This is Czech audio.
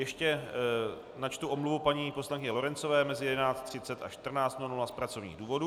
Ještě načtu omluvu paní poslankyně Lorencové mezi 11.30 až 14.00 z pracovních důvodů.